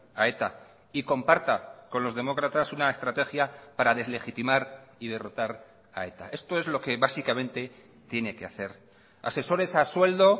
a eta y comparta con los demócratas una estrategia para deslegitimar y derrotar a eta esto es lo que básicamente tiene que hacer asesores a sueldo